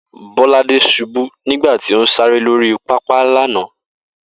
Bó̩ládé s̩ubú nígbà tí ó ń sáré lórí pápá lánàá